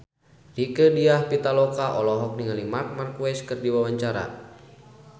Rieke Diah Pitaloka olohok ningali Marc Marquez keur diwawancara